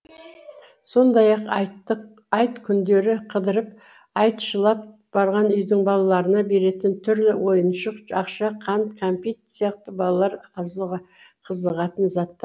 сондай ақ айттық айт күндері қыдырып айтшылап барған үйдің балаларына беретін түрлі ойыншық ақша қант кәмпит сияқты балалар қызығатын заттар